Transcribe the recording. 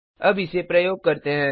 अब इसे प्रयोग करते हैं